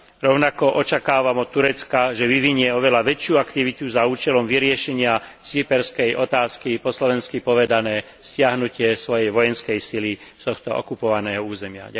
Rovnako očakávam od Turecka, že vyvinie oveľa väčšiu aktivitu za účelom vyriešenia cyperskej otázky po slovensky povedané stiahnutie svojej vojenskej sily z tohto okupovaného územia.